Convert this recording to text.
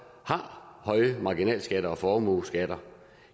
har høje marginalskatter og formueskatter